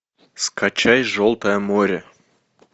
скачай желтое море